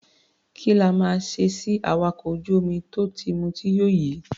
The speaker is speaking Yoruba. Kí la máa ṣe sí awakọ̀ ojú-omi tó ti mutí yó yìí?